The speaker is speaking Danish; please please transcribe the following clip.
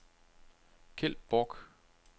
Kjeld Borch